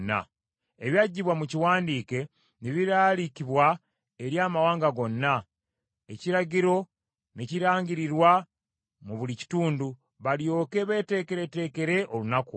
Ebyaggyibwa mu kiwandiike ne biraalikibwa eri amawanga gonna, ekiragiro ne kirangirirwa mu buli kitundu, balyoke beeteekereteekere olunaku olwo.